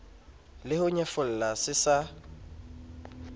le ho nyefola se sa